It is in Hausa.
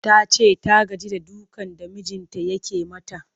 Ta ce ta gaji da dukan da mijinta yake mata